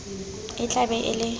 e tla be e le